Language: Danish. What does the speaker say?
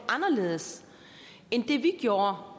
anderledes end det vi gjorde